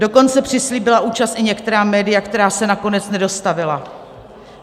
Dokonce přislíbila účast i některá média, která se nakonec nedostavila.